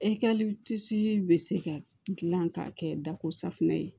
bɛ se ka dilan k'a kɛ dako safinɛ ye